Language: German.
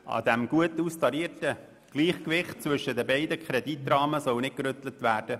An diesem gut austarierten Gleichgewicht zwischen den beiden Rahmenkrediten soll nicht gerüttelt werden.